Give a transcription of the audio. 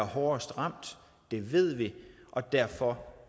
hårdest ramt det ved vi og derfor